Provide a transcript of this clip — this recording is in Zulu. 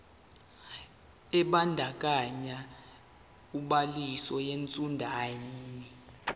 ebandakanya ubhaliso yesitshudeni